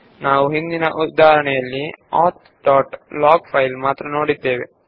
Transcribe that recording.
ನಾವು ಹಿಂದಿನ ಉದಾಹರಣೆಯಲ್ಲಿ ಆಥ್ ಡಾಟ್ ಲಾಗ್ ಫೈಲ್ ನ್ನು ಮಾತ್ರ ನೋಡಿದ್ದೇವೆ